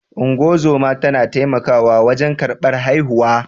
Ungozoma tana taimakawa wajen karɓar haihuwa.